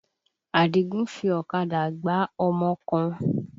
Àdìgún fi ọ̀kadà gbá ọmọ kan.